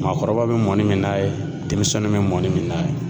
Maakɔrɔba be mɔnni min n'a ye , denmisɛnninw bɛ mɔni min n'a ye.